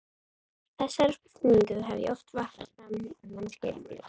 Þessari spurningu hef ég oft varpað fram á námskeiðunum mínum.